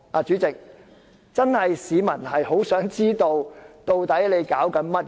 主席，市民確實很想知道立法會在搞甚麼。